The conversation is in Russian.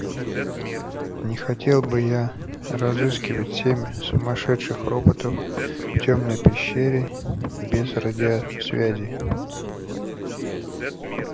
не хотел бы я разыскивать семь сумасшедших роботов в тёмной пещере без радиосвязи